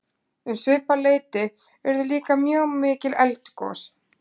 um svipað leyti urðu líka mjög mikil eldgos